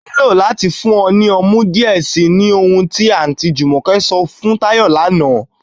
Ọ ní ilọ̀ láti fún ọ ni ọmú díẹ̀ sí, ní ọhun ti Aunty Jumoke sọ̀ fún Tayo lánà